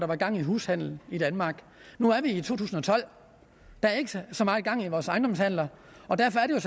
var gang i hushandelen i danmark nu er vi i to tusind og tolv der er ikke så så meget gang i vores ejendomshandler og derfor er